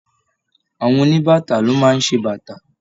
Àwọn oníbàtà ló máa ń ṣe bàtà